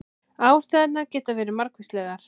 Ástæðurnar geta verið margvíslegar